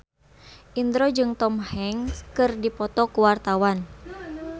Indro jeung Tom Hanks keur dipoto ku wartawan